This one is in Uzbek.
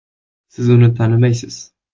Siz uni tanimaysiz.